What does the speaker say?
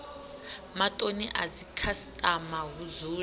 matoni a dzikhasitama hu dzule